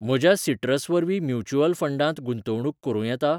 म्हज्या सिट्रस वरवीं म्युच्युअल फंडांत गुंतवणूक करूं येता?